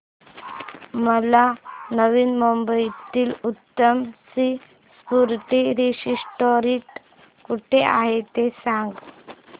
मला नवी मुंबईतलं उत्तम सी फूड रेस्टोरंट कुठे आहे ते सांग